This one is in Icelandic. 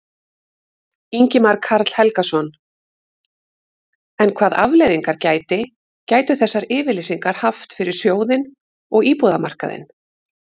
Ingimar Karl Helgason: En hvað afleiðingar gæti, gætu þessar yfirlýsingar haft fyrir sjóðinn og íbúðamarkaðinn?